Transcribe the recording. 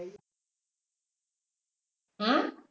অ্যাঁ